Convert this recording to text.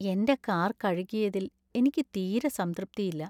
എന്‍റെ കാർ കഴുകിയതിൽ എനിക്ക് തീരെ സംതൃപ്തിയില്ല.